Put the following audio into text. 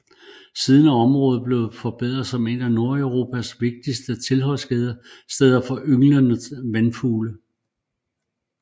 Siden er området blevet forbedret som et af Nordeuropas vigtigste tilholdssteder for ynglende vandfugle